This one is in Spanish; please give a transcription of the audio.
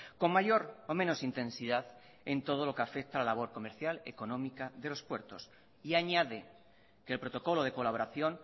con mayor o menos intensidad en todo lo que afecta a la labor comercial económica de los puertos y añade que el protocolo de colaboración